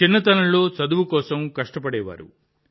చిన్నతనంలో చదువు కోసం కష్టపడేవారు